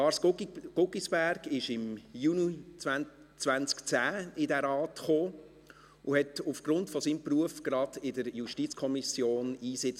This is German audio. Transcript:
Lars Guggisberg kam im Juni 2010 in diesen Rat und nahm aufgrund seines Berufs gleich in der JuKo Einsitz.